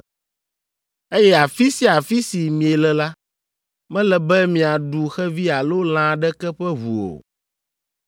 Eye afi sia afi si miele la, mele be miaɖu xevi alo lã aɖeke ƒe ʋu o.